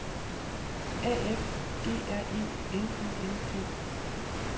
A F G R E N I N G